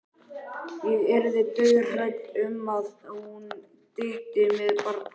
Ég yrði dauðhrædd um að hún dytti með barnið.